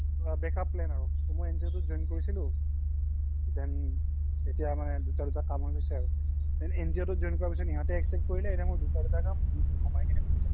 অ backup plan আৰু তো মই NGOতোত join কৰিছিলো then এতিয়া মানে দুটা দুটা হয় গৈছে আৰু then NGO তোত join কৰা পিছ্ত ইহ্তে accept কৰিলে এতিয়া মোৰ দুটা দুটা কাম মোৰ চোৰ ঘামাই কিনে বহি থকো আৰু